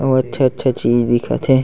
ओ अच्छा अच्छा चीज दिखत हे।